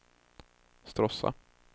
Stråssa